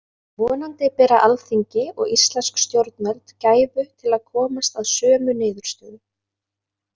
Vonandi bera alþingi og íslensk stjórnvöld gæfu til að komast að sömu niðurstöðu.